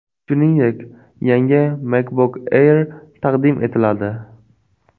Shuningdek, yangi MacBook Air taqdim etiladi.